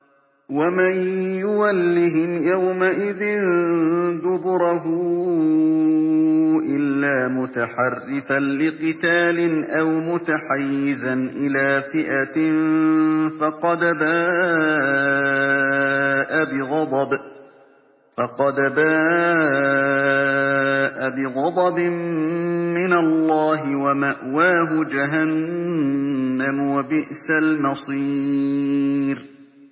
وَمَن يُوَلِّهِمْ يَوْمَئِذٍ دُبُرَهُ إِلَّا مُتَحَرِّفًا لِّقِتَالٍ أَوْ مُتَحَيِّزًا إِلَىٰ فِئَةٍ فَقَدْ بَاءَ بِغَضَبٍ مِّنَ اللَّهِ وَمَأْوَاهُ جَهَنَّمُ ۖ وَبِئْسَ الْمَصِيرُ